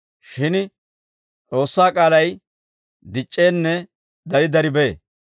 Shin S'oossaa k'aalay dic'c'eenne dari dari bee.